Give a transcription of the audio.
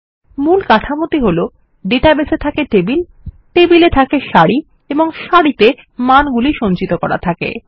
মূল কাঠামোটি হলো ডেটাবেস এ থাকে টেবিল এবং টেবিলে থাকে সারি এবং সারিতে মানগুলি সঞ্চিত থাকে